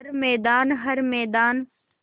हर मैदान हर मैदान